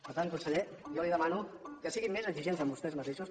per tant conseller jo li demano que siguin més exigents amb vostès mateixos